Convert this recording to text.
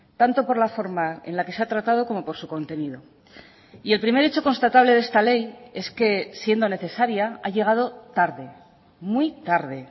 tanto por la forma en la que se ha tratado como por su contenido y el primer hecho constatable de esta ley es que siendo necesaria ha llegado tarde muy tarde